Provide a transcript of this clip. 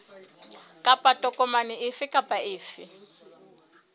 kapa tokomane efe kapa efe